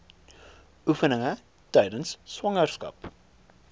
oefeninge tydens swangerskap